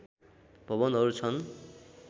भवनहरू छन्